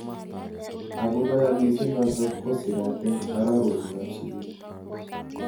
Ako kayamiset notok kosirat eng arorutik ab sukul.